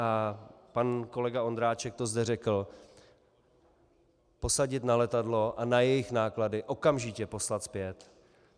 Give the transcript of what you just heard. A pan kolega Ondráček to zde řekl: Posadit na letadlo a na jejich náklady okamžitě poslat zpět.